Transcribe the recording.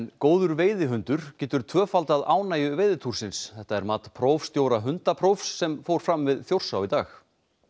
góður veiðihundur getur tvöfaldað ánægju þetta er mat prófstjóra hundaprófs sem fór fram við Þjórsá í dag